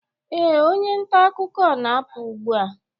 ee, onye nta akụkọ na-apụ ugbu a